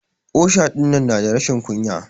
Osha dinnan na da rashin kunya.